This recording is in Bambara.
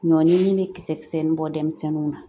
Ɲɔnin min bɛ kisɛkisɛnin bɔ denmisɛnninw na